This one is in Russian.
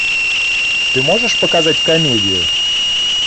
ты можешь показать комедию